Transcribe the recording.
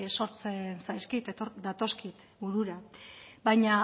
datozkit burura baina